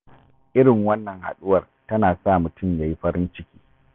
Irin wannan haɗuwar tana sa mutum ya yi farin ciki.